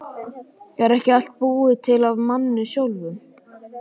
Er ekki allt búið til af manni sjálfum?